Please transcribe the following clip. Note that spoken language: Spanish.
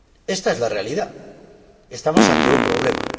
Ésta es la realidad estamos ante un problema.